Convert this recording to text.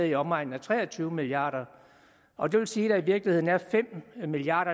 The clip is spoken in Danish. i omegnen af tre og tyve milliard kr og det vil sige at der i virkeligheden er fem milliard